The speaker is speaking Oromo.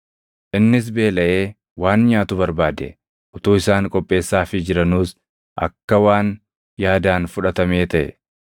Innis beelaʼee waan nyaatu barbaade; utuu isaan qopheessaafii jiranuus akka waan yaadaan fudhatamee taʼe.